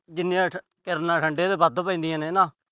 ਜਿੰਨੀਆਂ ਕਿਰਨਾਂ ਠੰਢੇ ਤੇ ਵੱਧ ਪੈਂਦੀਆਂ ਨੇ ਨਾ